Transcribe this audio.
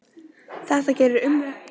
Þetta gerir umræðunum hærra undir höfði